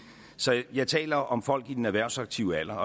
så jeg taler om folk i den erhvervsaktive alder